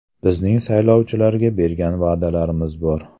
Bizning saylovchilarga bergan va’dalarimiz bor.